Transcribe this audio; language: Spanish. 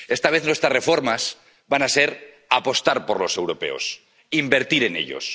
Esta vez nuestras reformas van a ser apostar por los europeos, invertir en ellos